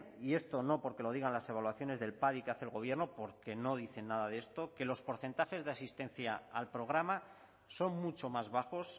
y esto no porque lo digan las evaluaciones del padi que hace el gobierno porque no dice nada de esto que los porcentajes de asistencia al programa son mucho más bajos